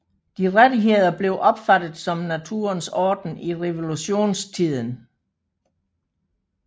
De rettigheder blev opfattet som naturens orden i revolutionstiden